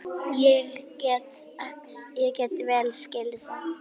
Ég get vel skilið það.